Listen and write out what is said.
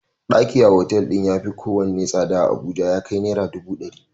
Ɗaki a otal din ya yafi kowane tsada a Abuja ya kai Naira dubu dari.